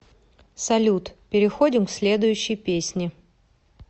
салют переходим к следующей песни